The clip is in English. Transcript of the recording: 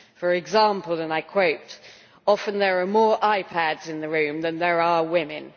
For example, and I quote, often there are more iPADs in the room than there are women'.